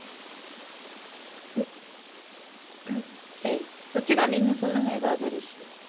உம் சரி ருஷிதா நீங்க சொல்லுங்க எதாவது ஒரு விஷயம்